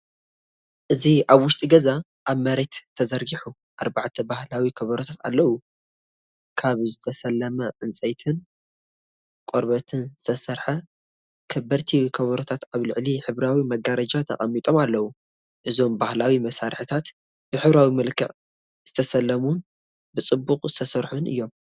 እዚ ኣብ ውሽጢ ገዛ ኣብ መሬት ተዘርጊሑ፡ ኣርባዕተ ባህላዊ ከበሮታት ኣለው። ካብ ዝተሰለመ ዕንጨይትን ቆርበትን ዝተሰርሑ ከበድቲ ከበሮታት ኣብ ልዕሊ ሕብራዊ መጋረጃ ተቐሚጦም ኣለው። እዞም ባህላዊ መሳርሒታት ብሕብራዊ መልክዕ ዝተሰለሙን ብጽቡቕ ዝተሰርሑን እዮም።